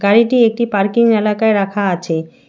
গাড়িটি একটি পার্কিং এলাকায় রাখা আছে।